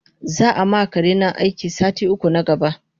Zaama karena aiki sati uku na gaba